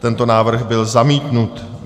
Tento návrh byl zamítnut.